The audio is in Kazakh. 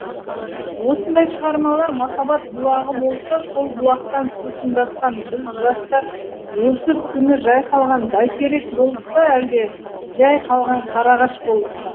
осындай шығармалар махаббат бұлағы болса сол бұлақтан сусындатқан біз жастар осы күні жайқалған бәйтерек болдық па әлде жәй қалған қарағаш болдық па